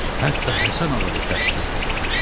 Hətta Həsən ağa da təşrif gətirmişdi.